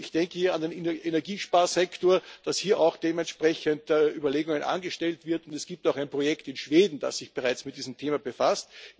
Ich denke hier an den Energiesparsektor, dass hier auch dementsprechend Überlegungen angestellt werden. Es gibt auch ein Projekt in Schweden, das sich bereits mit diesem Thema befasst.